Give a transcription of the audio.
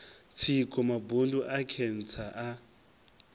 tsiko mabundu a khentsa a